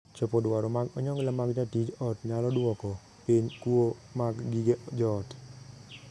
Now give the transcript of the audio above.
Chopo dwaro mag onyongla mag jatij ot nyalo duoko piny kuo mag gige joot.